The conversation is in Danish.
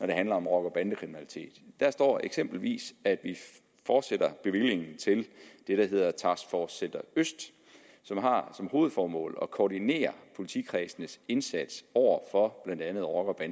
det handler om rocker og bandekriminalitet der står eksempelvis at vi fortsætter bevillingen til det der hedder task force øst som har som hovedformål at koordinere politikredsenes indsats over for blandt andet rocker